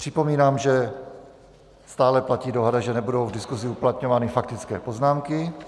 Připomínám, že stále platí dohoda, že nebudou v diskusi uplatňovány faktické poznámky.